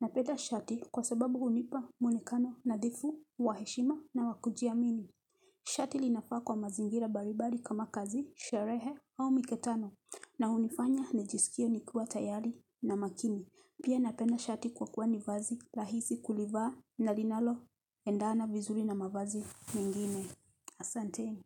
Napenda shati kwa sababu hunipa muonekano, nadhifu, wa heshima, na wakujiamini. Shati linafaa kwa mazingira mbali mbali kama kazi, sherehe, au mikutano. Na unifanya, nijiskie nikiwa tayari na makini. Pia napenda shati kwa kuwa ni vazi, rahisi kulivaa, na linalo, endana vizuri na mavazi mingine. Asanteni.